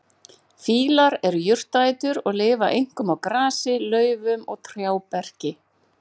Fílar eru jurtaætur og lifa einkum á grasi, laufum og trjáberki.